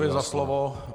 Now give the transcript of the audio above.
Děkuji za slovo.